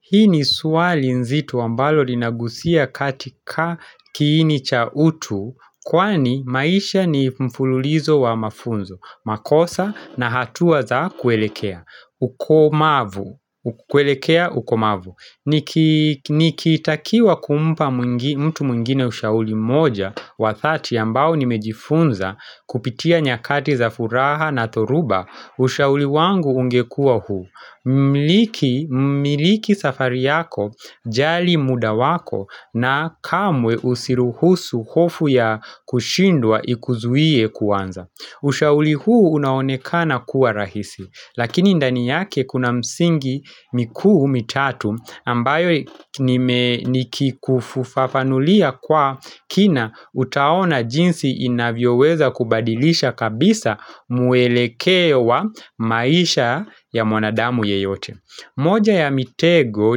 Hii ni swali nzito ambalo linagusia katika kiini cha utu, kwani maisha ni mfululizo wa mafunzo, makosa na hatua za kuelekea ukomavu. Nikitakiwa kumpa mtu mwingine ushauri mmoja wa thati ambao nimejifunza kupitia nyakati za furaha na thoruba ushauri wangu ungekuwa huu. Miliki safari yako, jali muda wako na kamwe usiruhusu hofu ya kushindwa ikuzuie kuanza. Ushauri huu unaonekana kuwa rahisi lakini ndani yake kuna msingi mikuu mitatu ambayo nikikufufafanulia kwa kina utaona jinsi inavyoweza kubadilisha kabisa mwelekeo wa maisha ya mwanadamu yeyote. Moja ya mitego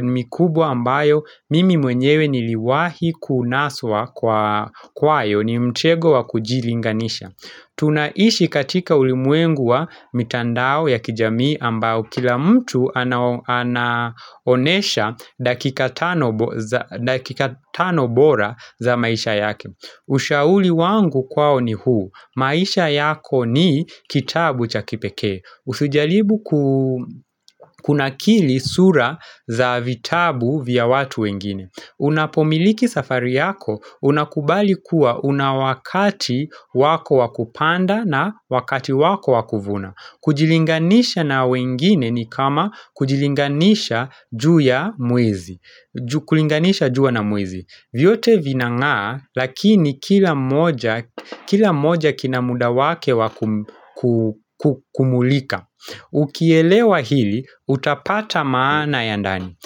ni mikubwa ambayo mimi mwenyewe niliwahi kunaswa kwa kwayo mi mitego wa kujilinganisha. Tunaishi katika ulimwengu wa mitandao ya kijamii ambayo kila mtu anaonesha dakika tano bora za maisha yake. Ushauri wangu kwao ni huu, maisha yako ni kitabu cha kipekee usujaribu ku kunakili sura za vitabu vya watu wengine. Unapomiliki safari yako unakubali kuwa una wakati wako wa kupanda na wakati wako wa kuvuna kujilinganisha na wengine ni kama kujilinganisha juu ya na mwezi, kulinganisha jua na mwezi. Vyote vinang'aa lakini kila moja kina muda wake wa kumulika Ukielewa hili utapata maana ya ndani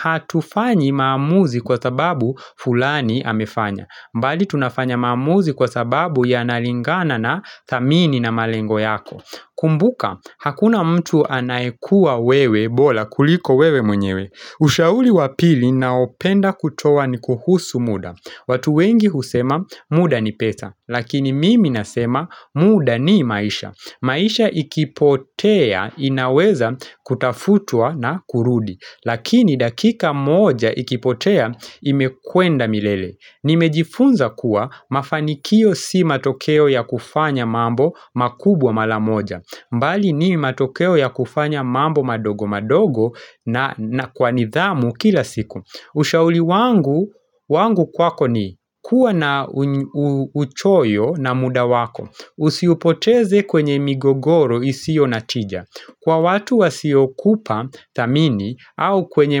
Hatufanyi maamuzi kwa sababu fulani amefanya, bali tunafanya maamuzi kwa sababu yanalingana na thamini na malengo yako kumbuka hakuna mtu anayekuwa wewe bora kuliko wewe mwenyewe. Ushauri wa pili naopenda kutoa ni kuhusu muda. Watu wengi husema muda ni pesa. Lakini mimi nasema muda ni maisha. Maisha ikipotea inaweza kutafutua na kurudi. Lakini dakika moja ikipotea imekwenda milele. Nimejifunza kuwa mafanikio si matokeo ya kufanya mambo makubwa mara moja, bali ni matokeo ya kufanya mambo madogo madogo na kwa nithamu kila siku. Ushauri wangu wangu kwako ni kuwa na uchoyo na muda wako. Usiupoteze kwenye migogoro isiyo na tija. Kwa watu wasiyokupa thamini au kwenye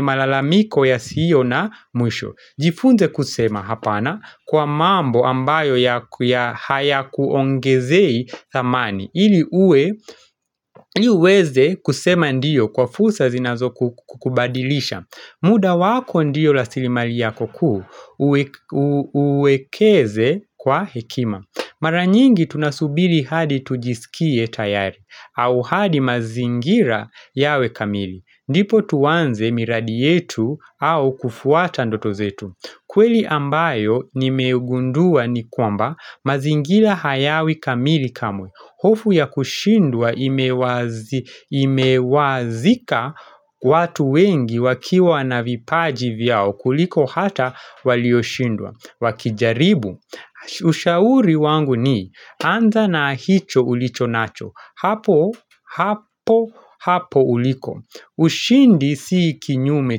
malalamiko yasiyo na mwisho Jifunze kusema hapana kwa mambo ambayo ya hayakuongezei dhamani ili uweze kusema ndiyo kwa fursa zinazokukubadilisha. Muda wako ndiyo rasilimali yako kuu uwekeze kwa hekima. Mara nyingi tunasubiri hadi tujiskie tayari au hadi mazingira yawe kamili ndipo tuanze miradi yetu au kufuata ndoto zetu kweli ambayo nimeugundua ni kwamba mazingira hayawi kamili kamwe. Hofu ya kushindwa imewazika watu wengi wakiwa na vipaji vyao kuliko hata walioshindwa. Wakijaribu. Ushauri wangu ni anza na hicho ulicho nacho. Hapo hapo hapo uliko. Ushindi si kinyume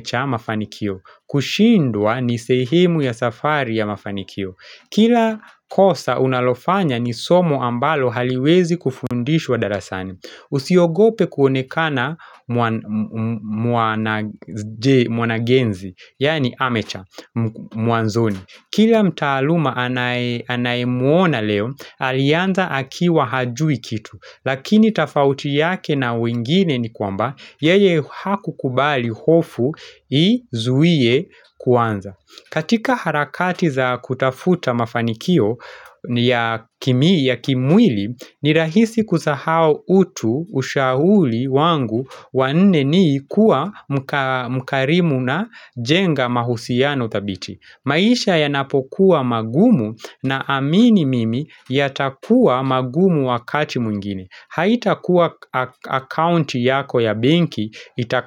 cha mafanikio. Kushindwa ni sehemu ya safari ya mafanikio. Kila kosa unalofanya ni somo ambalo haliwezi kufundishwa darasani. Usiogope kuonekana mwanagenzi yaani amateur mwanzoni. Kila mtaaluma anayemuona leo alianza akiwa hajui kitu. Lakini tafauti yake na wengine ni kwamba yeye hakukubali hofu izuie kuanza katika harakati za kutafuta mafanikio ya kimwili ni rahisi kusahau utu. Ushauri wangu wa nne ni kuwa mkarimu na jenga mahusiano thabiti. Maisha yanapokuwa magumu naamini mimi yatakua magumu wakati mwingine. Haitakuwa akaunti yako ya benki itaka.